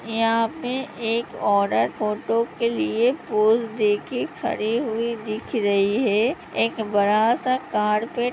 यहाँ पे एक औरत फ़ोटो के लिए पोज़ देके खड़ी हुई दिख रही है| एक बड़ा सा कारपेट --